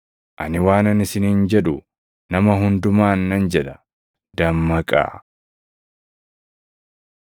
Ani waanan isiniin jedhu nama hundumaan nan jedha; ‘dammaqaa!’ ”